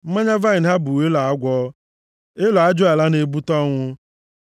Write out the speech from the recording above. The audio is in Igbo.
Mmanya vaịnị ha bụ elo agwọ, elo ajụala na-ebute ọnwụ.